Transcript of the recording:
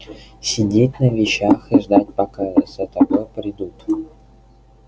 сидеть на вещах и ждать пока за тобой придут